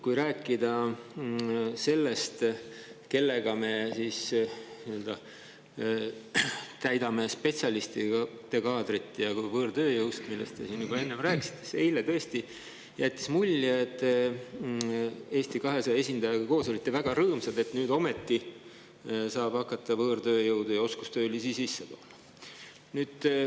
Rääkides sellest, kellega me täidame spetsialistide kohad, ja võõrtööjõust, millest te siin enne juba rääkisite, võib öelda, et eile tõesti te Eesti 200 esindajaga koos olite väga rõõmsad ja jätsite mulje, et nüüd ometi saab hakata võõrtööjõudu ja oskustöölisi sisse tooma.